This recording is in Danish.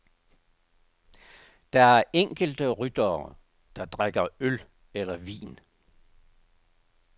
Der er enkelte ryttere, der drikker øl eller vin.